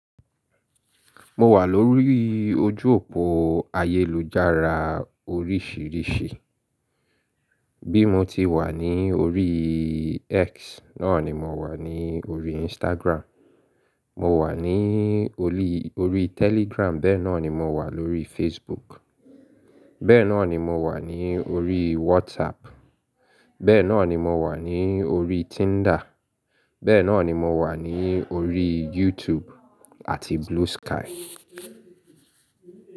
Mo wà lórí ojú òpó ayélujára oríṣiríṣi. Bí mo ti wà ní orí X náà ni mo wà ní orí Instagram, mo wà ní orí orí Telegram bẹ́ẹ̀ náà ni mo wà lórí Facebook, bẹ́ẹ̀ náà ni mo wà ní orí WhatsApp, bẹ́ẹ̀ náà ni mo wà ní orí Tinder, bẹ́ẹ̀ náà ni mo wà ní orí YouTube àti Blue Sky.